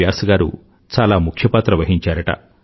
వ్యాస్ గారు చాలాముఖ్య పాత్ర వహించారుట